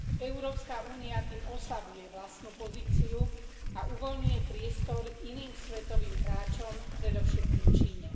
Európska únia tým oslabuje vlastnú pozíciu a uvoľňuje priestor iným svetovým hráčom, predovšetkým Číne.